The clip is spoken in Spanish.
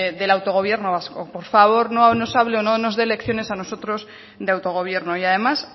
del autogobierno vasco por favor no nos hable o no nos den lecciones a nosotros de autogobierno y además